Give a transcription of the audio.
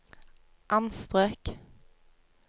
anstrøk